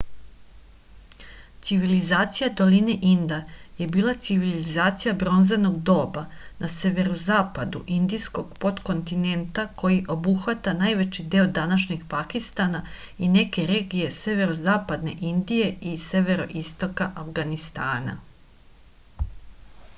civilizacija doline inda je bila civilizacija bronzanog doba na severozapadu indijskog potkontinenta koji obuhvata najveći deo današnjeg pakistana i neke regije severozapadne indije i severoistoka avganistana